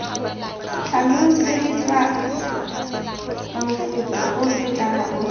tlhaloseditswe mofuta ofe kana ofe